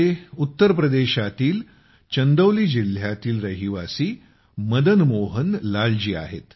ते उत्तरप्रदेशातील चंदौली जिल्ह्यातील रहिवासी मदनमोहन लालजी आहेत